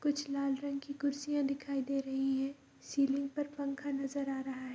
कुछ लाल रंग की कुर्सियां दिखाई दे रही है सिलिंग पर पंखा नजर आ रहा है।